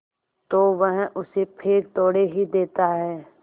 तो वह उसे फेंक थोड़े ही देता है